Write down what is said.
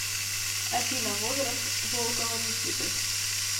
афина возраст волкова никиты